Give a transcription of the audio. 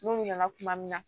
N'u nana tuma min na